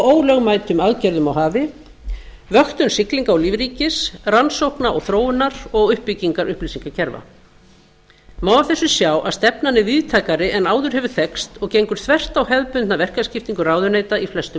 ólögmætum aðgerðum á hafi vöktun siglinga og lífríkis rannsókna og þróunar og uppbygginga upplýsingakerfa má af þessu sjá að stefnan er víðtækari en áður hefur þekkst og gengur þvert á hefðbundna verkaskiptingu ráðuneyta í flestum